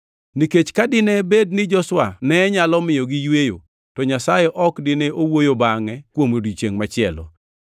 Nikech ka dine bed ni Joshua ne nyalo miyogi yweyo, to Nyasaye ok dine owuoyo bangʼe kuom odiechiengʼ machielo.